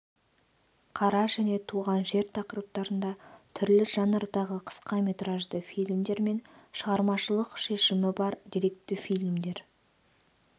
қара және туған жер тақырыптарында түрлі жанрдағы қысқаметражды фильмдер мен шығармашылық шешімі бар деректі фильмдер